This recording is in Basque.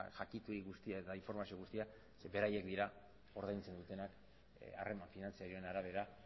jakituri guztia eta informazio guztia zeren beraiek dira ordaintzen dutenak harreman finantzarioaren arabera